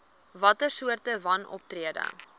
watter soorte wanoptrede